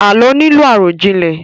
Àlọ́ nílò àròjinlẹ̀